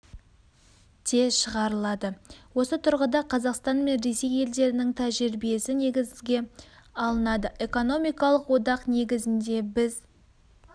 де шығарылады осы тұрғыда қазақстан мен ресей елдерінің тәжірибесі негізге алынады экономикалық одақ негізінде біз